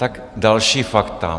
Tak další fakta.